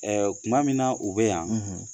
tuma min na u bɛ yan